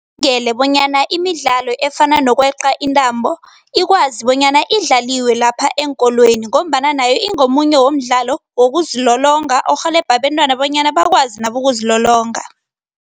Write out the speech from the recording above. Bonyana imidlalo efana nokweqa intambo ikwazi bonyana idlaliwe lapha eenkolweni ngombana nayo ingomunye womdlalo wokuzilolonga, orhelebha abentwana bonyana bakwazi nabo ukuzilolonga.